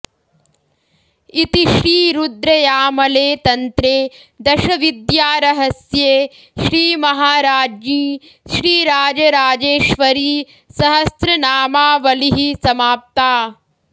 इति श्रीरुद्रयामले तन्त्रे दशविद्यारहस्ये श्रीमहाराज्ञी श्रीराजराजेश्वरी सहस्रनामावलिः समाप्ता